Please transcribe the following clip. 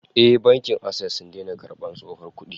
Eh, Bankin Access sun daina karbar tsohon kudi